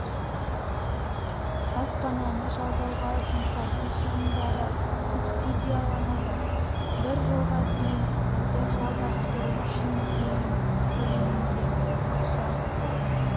баспананы жалдауға жұмсайтын шығындары субсидияланады бір жылға дейін пәтер жалдап тұру үшін дейін көлемде ақша